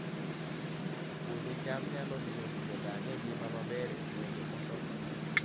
Puodho cham nyalo miyo ji odag e ngima maber e gwenge mosokore